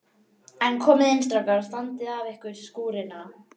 En komiði inn strákar og standið af ykkur skúrina.